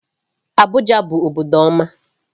Abuja bụ obodo ọma.